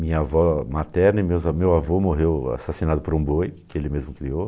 Minha avó materna e meus meu avô morreu assassinado por um boi, que ele mesmo criou.